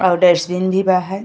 और डस्टबिन भी बा है।